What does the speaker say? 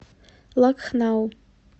лакхнау